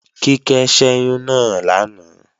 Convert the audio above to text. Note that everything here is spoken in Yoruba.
Kíkẹ́ ṣẹ́yún náà lánàá